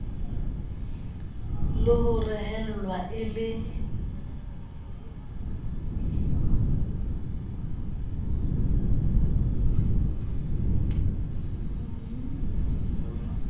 le ho rehellwa e le